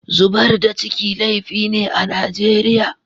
Zubar da ciki laifi ne a Nijeriya.